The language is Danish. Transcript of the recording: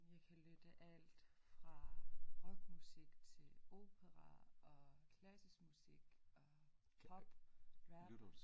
Jeg kan lytte alt fra rock musik til opera og klassisk musik og pop rap